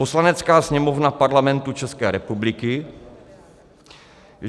"Poslanecká sněmovna Parlamentu České republiky